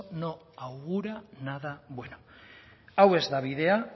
no augura nada bueno hau ez da bidea